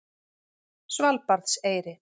Svalbarðseyri